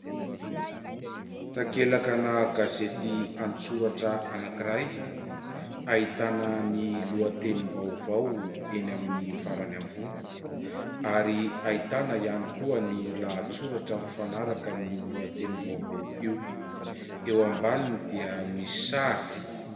Takelaka gazety an-tsoratra anankiray. Ahitana ny lohatenim-baovao eny amin'ny farany ambony ary ahitana ihany koa ny lahatsoratra mifanaraka amin'io lohatenim-baovao io ; eo ambaniny dia misy sary.